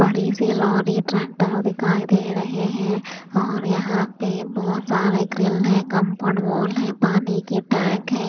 बड़े से lorry tractor दिखाई दे रहे हैं और यहां पे बहोत सारे ग्रिल है कंपाउंड वॉल हैं पानी के टैंक हैं।